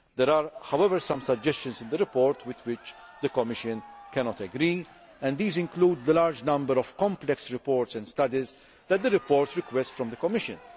There are, however, some suggestions in the report with which the Commission cannot agree, and these include the large number of complex reports and studies that the report requests from the Commission.